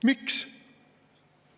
Miks?